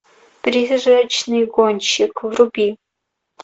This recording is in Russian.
призрачный гонщик вруби